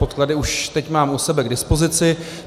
Podklady teď už mám u sebe k dispozici.